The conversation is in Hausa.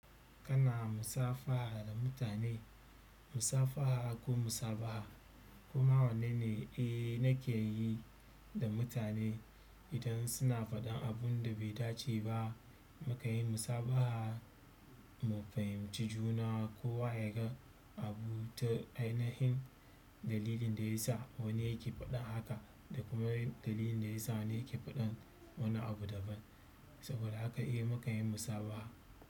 Kana musafaha da mutane, musafaha ko musabaha koma wannan ne e nake yi da mutane idan suna faɗin abun da bai dace ba. Mu kan yi musabaha mu fahimci juna ko wa ya ga abu ta ainihin dalilin da ya sa wani yake faɗan haka da kuma dalilin da ya sa wani yake faɗan wani abu daban. Saboda haka eh mu kan yi musabaha.